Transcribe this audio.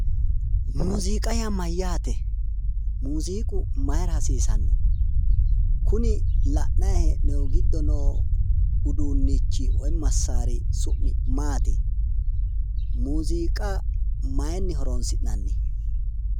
Muuziiqa yaa mayyaate? muuziiqu maayiira hasiisanno? kuni la'nayi hee'noyi giddo noo uduunnichi woyi massaari su'mi maati? muuziiqa maayiinni horonsi'nanni?